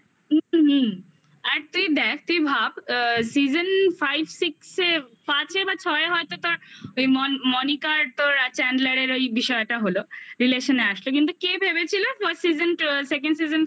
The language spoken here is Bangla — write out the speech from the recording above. আর তুই দেখ তুই ভাব আ season five six -এ পাচ্ছে বা ছয়ে হয়তো তোর ওই মনিকার তোর Changlar -এর ওই বিষয়টা হলো relation -এ আসবে কিন্তু কে ভেবেছিল first season second season থেকে